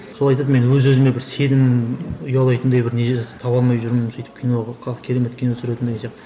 сол айтады мен өз өзіме бір сенім ұялайтындай бір не таба алмай жүрмін сөйтіп киноға керемет кино түсіретін деген сияқты